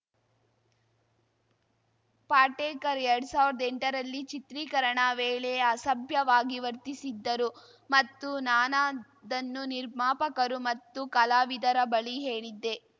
ಪಾಟೇಕರ್‌ ಎರಡ್ ಸಾವ್ರ್ದಾಎಂಟರಲ್ಲಿ ಚಿತ್ರೀಕರಣ ವೇಳೆ ಅಸಭ್ಯವಾಗಿ ವರ್ತಿಸಿದ್ದರು ಮತ್ತು ನಾನದನ್ನು ನಿರ್ಮಾಪಕರು ಮತ್ತು ಕಲಾವಿದರ ಬಳಿ ಹೇಳಿದ್ದೆ